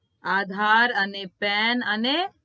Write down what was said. આધાર અને પેન અને